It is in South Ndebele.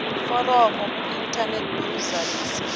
iforomo kuinthanethi bewulizalise